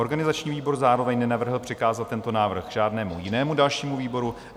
Organizační výbor zároveň nenavrhl přikázat tento návrh žádnému jinému dalšímu výboru.